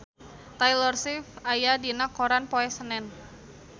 Taylor Swift aya dina koran poe Senen